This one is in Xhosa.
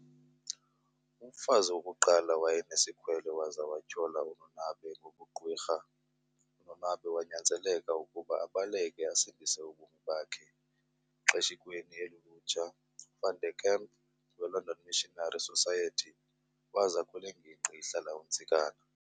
Umfazi wokuqala wayenesikhwele waza wathyola uNonabe ngobugqwirha, uNonabe wanyanzeleka ukuba abaleke asindise ubomi bakhe. Xeshikweni elulutsha, uVan Der Kemp weLondon missionary society waza kulenginqgi ihlala uNtsikana.